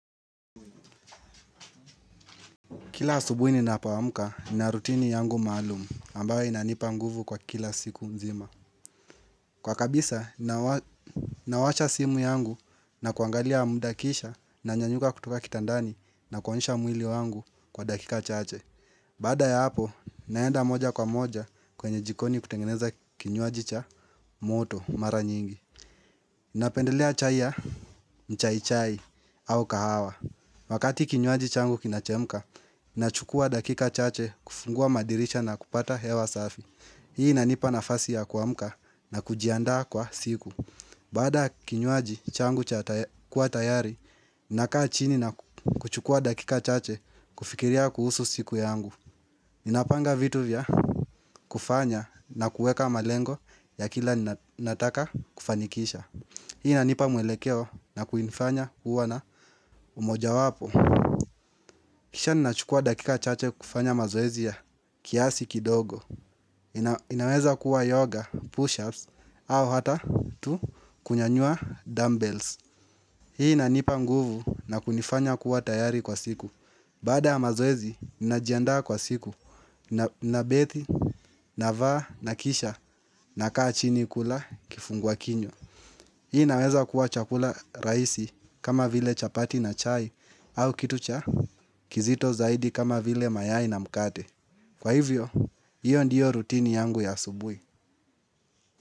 Kila asubuhi ninapoamka nina rutini yangu maalumu ambayo inanipa nguvu kwa kila siku nzima. Kwa kabisa nawasha simu yangu na kuangalia muda kisha nanyanyuka kutoka kitandani na kunyoosha mwili wangu kwa dakika chache. Bada ya hapo naenda moja kwa moja kwenye jikoni kutengeneza kinywaji cha moto mara nyingi. Napendelea chai ya mchaichai au kahawa. Wakati kinywaji changu kinachemka, ninachukua dakika chache kufungua madirisha na kupata hewa safi. Hii inanipa nafasi ya kuamka na kujiandaa kwa siku. Bada kinywaji changu kuwa tayari, nina kaa pchini na kuchukua dakika chache kufikiria kuhusu siku yangu. Ninapanga vitu vya kufanya na kuweka malengo ya kila nataka kufanikisha. Hii inanipa mwelekeo na kunifanya kuwa na umoja wapo. Kisha ninachukua dakika chache kufanya mazoezi ya kiasi kidogo. Inaweza kuwa yoga, push-ups, au hata tu kunyanyua dumbbells. Hii inanipa nguvu na kunifanya kuwa tayari kwa siku. Baada ya mazoezi ninajiandaa kwa siku. Nabethi, navaa, nakisha, nakaa chini kula kifungua kinywa. Hii naweza kuwa chakula raisi kama vile chapati na chai au kitu cha kizito zaidi kama vile mayai na mkate. Kwa hivyo, iyo ndiyo rutini yangu ya asubuhi.